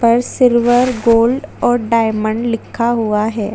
ऊपर silver gold diamond लिखा हुआ है।